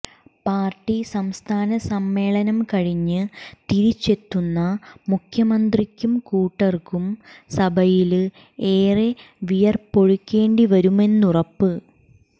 party സംസ്ഥാന സമ്മേളനം കഴിഞ്ഞ് തിരിച്ചെത്തുന്ന മുഖ്യമന്ത്രിക്കും കൂട്ടര്ക്കും സഭയില് ഏറെ വിയര്പ്പൊഴുക്കേണ്ടിവരുമെന്നുറപ്പ്